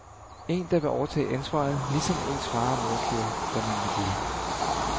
En der vil overtage ansvaret, ligesom ens far og mor gjorde, da man var lille.